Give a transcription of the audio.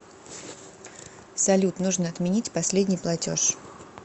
салют нужно отменить последний платеж